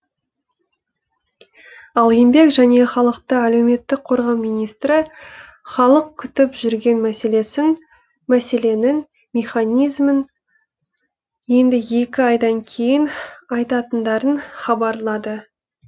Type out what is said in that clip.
ал еңбек және халықты әлеуметтік қорғау министрі халық күтіп жүрген мәселенің механизмін енді екі айдан кейін айтатындарын хабарлады